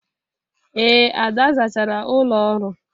Ee Ada, zachara ụlọ ọrụ.